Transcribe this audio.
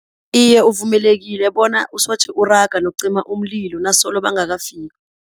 Iye, uvumelekile bona usoje uraga nokucima umlilo nasolo bangakafiki.